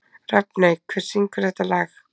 Rafney, hver syngur þetta lag?